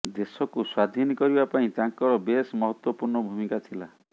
ଦେଶକୁ ସ୍ୱାଧୀନ କରିବା ପାଇଁ ତାଙ୍କର ବେଶ ମହତ୍ୱପୂର୍ଣ୍ଣ ଭୂମିକା ଥିଲା